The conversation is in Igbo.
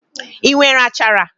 I nwere achara?